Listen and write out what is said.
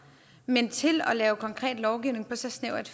men at lave konkret lovgivning på så snævert